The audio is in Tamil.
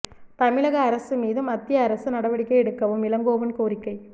தமிழக அரசு மீது மத்திய அரசு நடவடிக்கை எடுக்கவும் இளங்கோவன் கோரிக்கை